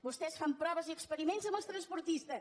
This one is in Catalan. vostès fan proves i experiments amb els transportistes